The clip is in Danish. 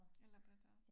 En labrador